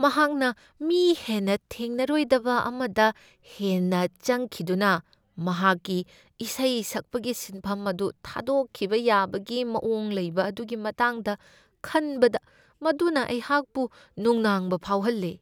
ꯃꯍꯥꯛꯅ ꯃꯤ ꯍꯦꯟꯅ ꯊꯦꯡꯅꯔꯣꯏꯗꯕ ꯑꯃꯗ ꯍꯦꯟꯅ ꯆꯪꯈꯤꯗꯨꯅ ꯃꯍꯥꯛꯀꯤ ꯏꯁꯩ ꯁꯛꯄꯒꯤ ꯁꯤꯟꯐꯝ ꯑꯗꯨ ꯊꯥꯗꯣꯛꯈꯤꯕ ꯌꯥꯕꯒꯤ ꯃꯋꯣꯡ ꯂꯩꯕ ꯑꯗꯨꯒꯤ ꯃꯇꯥꯡꯗ ꯈꯟꯕꯗ ꯃꯗꯨꯅ ꯑꯩꯍꯥꯛꯄꯨ ꯅꯨꯡꯅꯥꯡꯕ ꯐꯥꯎꯍꯜꯂꯦ ꯫